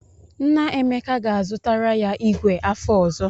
Nna Emeka ga-azụtara ya ìgwè afọ ọzọ.